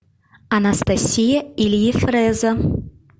анастасия или ефреза